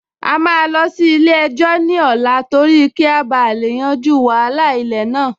A máa lọ sí ilé-ẹjọ́ ní ọ̀la torí kí a bá lè yanjú wàhálà ilẹ̀ náà